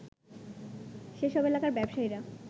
সেসব এলাকার ব্যবসায়ীরা